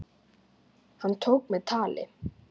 Hann tók mig tali.